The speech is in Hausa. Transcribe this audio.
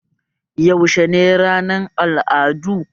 Yaushe ne ranar al'adu?